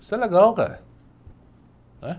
Isso é legal, cara.